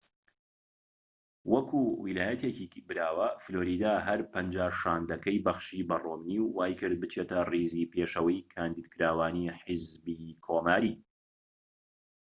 وەکو ویلایەتێكی براوە فلۆریدا هەر پەنجا شاندەکەی بەخشی بە ڕۆمنی و وای کرد بچێتە ڕیزی پێشەوەی کاندیدکراوانی حیزبی کۆماری